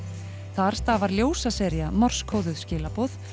þar stafar ljósasería morsekóðuð skilaboð